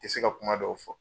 Te se ka kuma dɔw fɔ